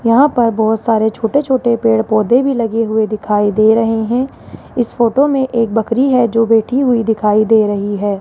यहां पर बोहोत सारे छोटे-छोटे पेड़-पौधे भी लगे हुए दिखाई दे रहे हैं इस फोटो में एक बकरी है जो बैठी हुई दिखाई दे रही हैं।